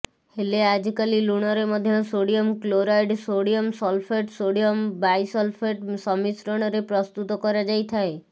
ହେଲେ ଆଜିକାଲି ଲୁଣରେ ମଧ୍ୟ sodium chloride sodium sulphate sodium bisulphate ସମ୍ମିଶ୍ରଣରେ ପ୍ରସ୍ତୁତ କରାଯାଇଥାଏ